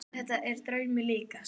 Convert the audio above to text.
Þetta er draumi líkast.